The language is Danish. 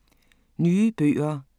Nye bøger